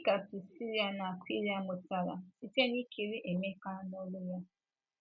Gịnị ka Prisila na Akwịla mụtara site n’ikiri Emeka n’oru ya?